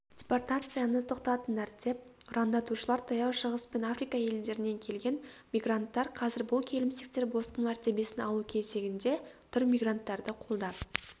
депортацияны тоқтатыңдар деп ұрандатушылар таяу шығыс пен африка елдерінен келген мигранттар қазір бұл келімсектер босқын мәртебесін алу кезегінде тұр мигранттарды қолдап